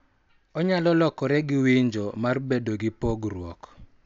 Onyalo lokore gi winjo mar bedo gi pogruok,